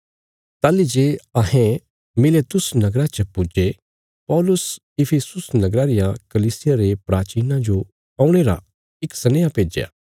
ताहली जे अहें मिलेतुस नगरा च पुज्जे पौलुस इफिसुस नगरा रिया कलीसिया रे प्राचीनां जो औणे रा इक सनेहा भेज्या